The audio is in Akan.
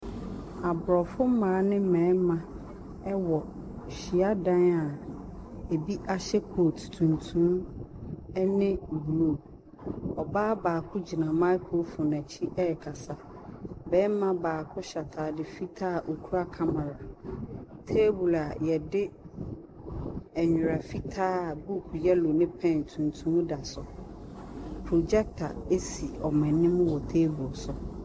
Aborɔfo mmaa ne mmarima wɔ hyiadan a bi ahyɛ kooti tuntum ne blue. Ɔbaa baako gyina microphone n’akyi ɛrekasa. Barima baako hyɛ ataade fitaa a okura camera, table a yɛde nnwera fitaa a book yellow ne pen tuntum da so. Projector si wɔn anim wɔ table so.